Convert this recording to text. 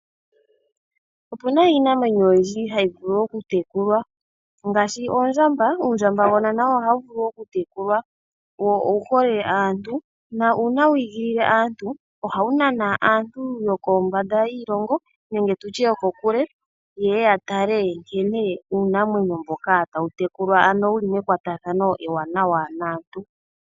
Opuna iinamwenyo oyindji hayi vulu okutekulwa ngaashi oondjamba. Uundjambagona nawo ohawu vulu okutekulwa wo owuhole aantu nuuna wi igilile aantu ohawu nana aantu yokombanda yiilongo nenge tu tye yokokule ye ye ya tale nkene uunamwenyo mboka tawu tekulwa ano wuli mekwatathano ewanawa naantu.